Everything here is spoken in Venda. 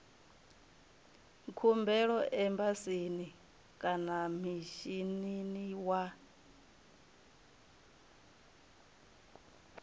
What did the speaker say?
khumbelo embasini kana mishinini wa